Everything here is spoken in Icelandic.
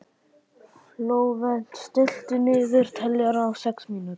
Flóvent, stilltu niðurteljara á sex mínútur.